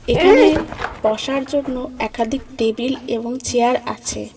এখানে বসার জন্য একাধিক টেবিল এবং চেয়ার আছে।